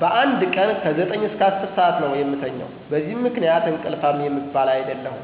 በአንድ ቀን ከ9-10 ሠአት ነው የምተኛው። በዚህ ምክንያት እንቅልፋም የምባል አይደለሁም።